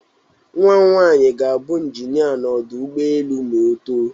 Nnwa m nwaanyi ga-abụ Injinịa n'ọdụ ụgbọelu ma oto.